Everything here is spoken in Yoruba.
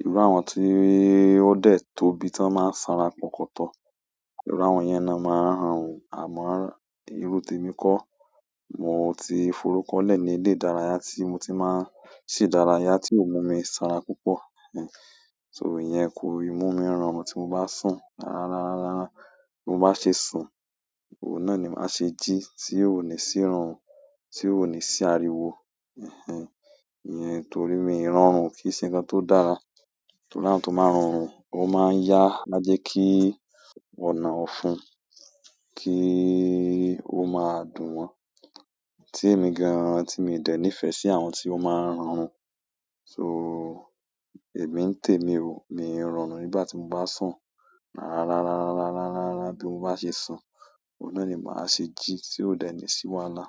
Irú àwọn tí ó dẹ̀ tóbi tán máa ń sanra pọ̀kúntọ̀. Irú àwọn yẹn náà máa n rọrùn àmọ́ irú témi kọ́, mo ti forúkọ́lẹ̀ ní ilé ìdárayá tí mo ti máa ń ṣe ídárayá tí ò mú mi sanra púpọ̀. Ẹhẹń, so iyen kò i mú mi rọrùn tí mo bá sùn. Rárá, rárá, rárá. Bí mo bá ṣe sùn, òun náà ni màá ṣe jí tí ó ní sì rọrùn, tí ó ní sì ariwo. Ẹhẹń, iyen torí mi irọrùn o kí ń ṣe nǹkan tó dára. Torí àwọn tó máa ń rọrùn ó máa ń yá ájẹ kí ọ̀nà ọ̀fun kí ó máa dùn wọn. Tí èmi gan-an tí mi ò dẹ̀ nífẹ̀ẹ́ sí àwọn tí ó máa ń rọrùn. So, èmi ń tèmi o, mi ò rọrùn nígbà tí mo bá sùn. Rárá, rárá, rárá, rárá, rárá, bí mo bá ṣe sùn, òun náà ni màá ṣe jí tí ó dẹ̀ ní sì wàhálà.